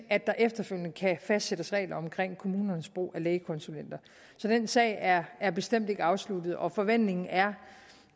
at der efterfølgende kan fastsættes regler om kommunernes brug af lægekonsulenter så den sag er er bestemt ikke afsluttet og forventningen er